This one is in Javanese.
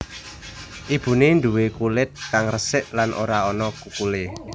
Ibune nduwe kulit kang resik lan ora ana kukulé